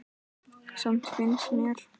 Samt finnst mér.